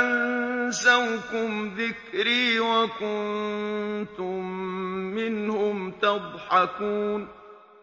أَنسَوْكُمْ ذِكْرِي وَكُنتُم مِّنْهُمْ تَضْحَكُونَ